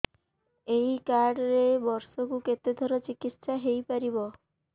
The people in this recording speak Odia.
ଏଇ କାର୍ଡ ରେ ବର୍ଷକୁ କେତେ ଥର ଚିକିତ୍ସା ହେଇପାରିବ